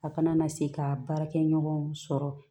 A kana na se ka baarakɛ ɲɔgɔnw sɔrɔ